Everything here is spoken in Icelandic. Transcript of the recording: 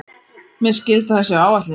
Mér skilst að það sé á áætlun.